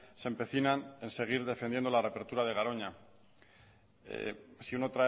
se empecinan en seguir defendiendo la reapertura de garoña si uno